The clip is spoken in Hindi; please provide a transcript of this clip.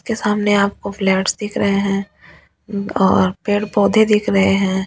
के सामने आपको फ्लैट्स दिख रहे हैं और पेड़-पौधे दिख रहे हैं।